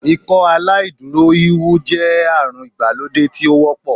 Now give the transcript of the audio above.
Ikọaláìdúró híhún jẹ́ àrùn ìgbàlódé tí ó wọ́pọ̀